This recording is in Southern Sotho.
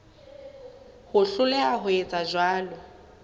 ho hloleha ho etsa jwalo